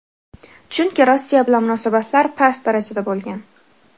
Chunki Rossiya bilan munosabatlar past darajada bo‘lgan.